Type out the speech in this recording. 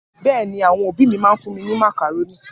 Bẹ́ẹ̀ ni, àwọn òbí mi máa ń fún mi ní màkàrónì.